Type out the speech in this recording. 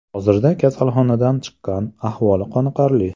Hozirda kasalxonadan chiqqan, ahvoli qoniqarli.